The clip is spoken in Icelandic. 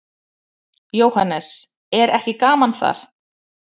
Jóhannes: Er ekki gaman þar?